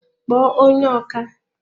kpọọ onye ọkà!